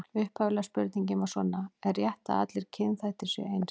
Upphaflega spurningin var svona: Er rétt að allir kynþættir séu eins?